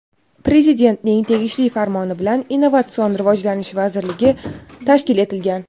Prezidentning tegishli Farmoni bilan Innovatsion rivojlanish vazirligi tashkil etilgan.